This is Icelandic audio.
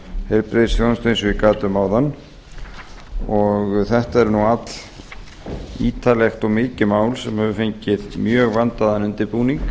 heilbrigðisþjónustu eins og ég gat um áðan þetta er allítarlegt og mikið mál sem hefur fengið mjög vandaðan undirbúning